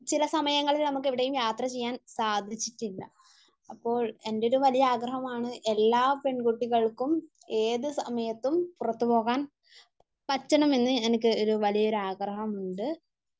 ചില സമയങ്ങളിൽ നമുക്ക് എവിടെയും യാത്ര ചെയ്യാൻ സാധിച്ചിട്ടില്ല. അപ്പോൾ എൻ്റെ ഒരു വലിയ ആഗ്രഹമാണ് എല്ലാ പെൺകുട്ടികൾക്കും ഏത് സമയത്തും പുറത്തു പോകാൻ പറ്റണമെന്നു എനിക്ക് ഒരു വലിയ ഒരു ആഗ്രഹമുണ്ട്.